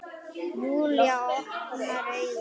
Júlía opnar augun.